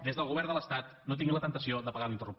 des del govern de l’estat no tinguin la temptació d’apagar l’interruptor